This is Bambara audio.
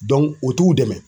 u t'u dɛmɛ.